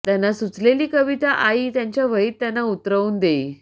त्यांना सुचलेली कविता आई त्यांच्या वहीत त्यांना उतरवून देई